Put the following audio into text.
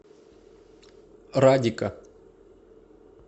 радика